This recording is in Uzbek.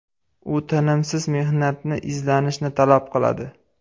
U tinimsiz mehnatni, izlanishni talab qiladi.